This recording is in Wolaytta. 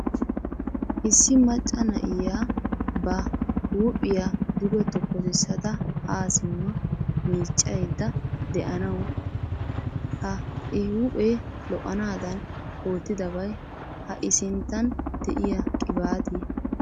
Issi macca na'iya ba huuphiya duge tokkosissada haa simma miiccaydda de'anawu. Ha I huuphee lo'anaadan oottidabay ha I sinttan de'iya qibaatiya.